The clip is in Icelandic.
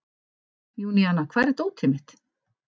Júníana, hvar er dótið mitt?